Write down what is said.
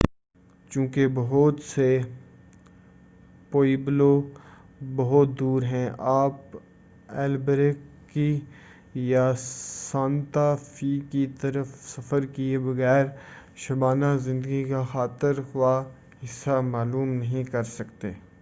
چونکہ بہت سے پوِئبلو بہت دور ہیں آپ البیکرکی یا سانتا فے کی طرف سفر کیے بغیر شبانہ زندگی کا خاطر خواہ حصہ معلوم نہیں کر سکتے